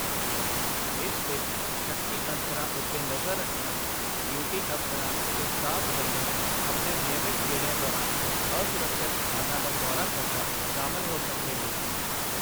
ਇਸ ਵਿੱਚ ਸ਼ੱਕੀ ਅਨਸਰਾਂ ਉੱਤੇ ਨਜ਼ਰ ਰੱਖਣਾ, ਡਿਊਟੀ ਅਫ਼ਸਰਾਂ ਤੇ ਸਟਾਫ਼ ਵੱਲੋਂ ਆਪਣੇ ਨਿਯਮਤ ਗੇੜਿਆਂ ਦੌਰਾਨ ਅਸੁਰੱਖਿਅਤ ਸਥਾਨਾਂ ਦਾ ਦੌਰਾ ਕਰਨਾ ਸ਼ਾਮਲ ਹੋ ਸਕਦੇ ਹਨ।